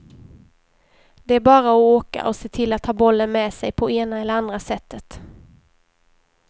Det är bara att åka och se till att ha bollen med sig på ena eller andra sättet.